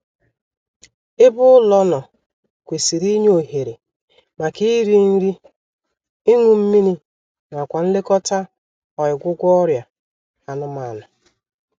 Ebe ụlọ nọ kwesịrị inye ohere maka iri nri, ịñụ mmiri nakwa nlekọta ọịgwụgwọ ọrịa anụmanụ